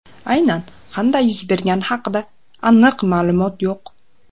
Aynan qanday yuz bergani haqida aniq ma’lumot yo‘q.